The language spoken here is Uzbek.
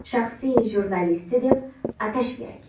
shaxsiy jurnalisti, deb atash kerak.